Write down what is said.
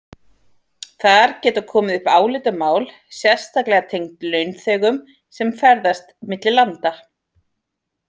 Þar geta komið upp álitamál sérstaklega tengd launþegum sem ferðast milli landa.